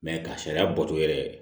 ka sariya bɔtɔ yɛrɛ